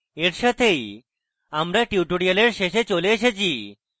এই সাথেই আমরা tutorial শেষে চলে এসেছি